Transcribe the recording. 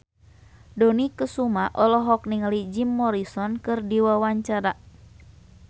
Dony Kesuma olohok ningali Jim Morrison keur diwawancara